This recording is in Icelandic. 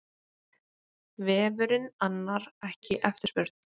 Vefurinn annar ekki eftirspurn